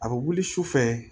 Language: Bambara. A bɛ wuli su fɛ